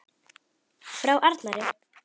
Frá Arnari!